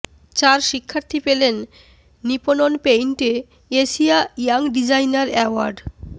চার শিক্ষার্থী পেলেন নিপপন পেইন্টে এশিয়া ইয়াং ডিজাইনার অ্যাওয়ার্ড